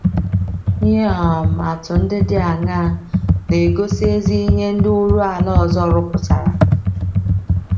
Ihe um atụ ndị dị aṅaa um na - egosi ezi ihe ndị oru ala ọzọ rụpụtara?